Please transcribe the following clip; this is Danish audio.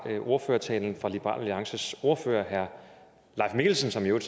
ordførertalen fra liberal alliances ordfører herre leif mikkelsen som jo i